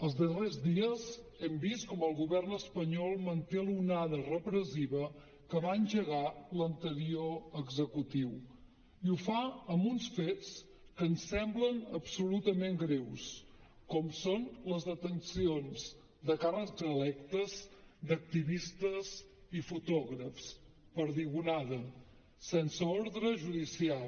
els darrers dies hem vist com el govern espanyol manté l’onada repressiva que va engegar l’anterior executiu i ho fa amb uns fets que ens semblen absolutament greus com són les detencions de càrrecs electes d’activistes i fotògrafs perdigonada sense ordre judicial